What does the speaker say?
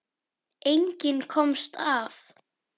Enginn komst af.